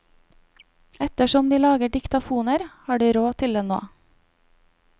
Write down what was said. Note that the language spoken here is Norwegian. Ettersom de lager diktafoner, har de råd til det nå.